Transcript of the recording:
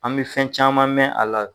An bɛ fɛn caman mɛn a la.